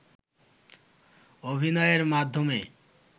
অভিনয়ের মাধ্যমে